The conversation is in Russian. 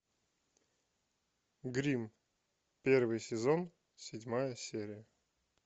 гримм первый сезон седьмая серия